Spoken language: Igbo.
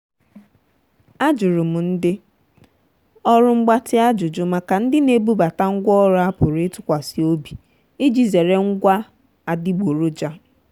ajuru m ndị ọrụ mgbatị ajụjụ maka ndị na-ebubata ngwa ọrụ a pụrụ ịtụkwasị obi iji zere ngwa adịgboroja.